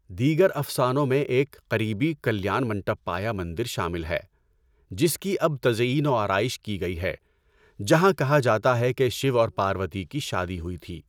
دیگر افسانوں میں ایک قریبی کلیان منٹپا یا مندر شامل ہے، جس کی اب تزئین و آرائش کی گئی ہے، جہاں کہا جاتا ہے کہ شیو اور پاروتی کی شادی ہوئی تھی۔